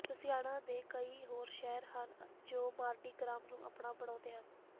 Louisiana ਦੇ ਕਈ ਹੋਰ ਸ਼ਹਿਰ ਹਨ ਜੋ ਮਾਰਡੀ ਗ੍ਰਾਸ ਨੂੰ ਆਪਣਾ ਬਣਾਉਂਦੇ ਹਨ